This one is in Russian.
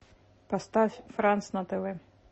поставь франц на тв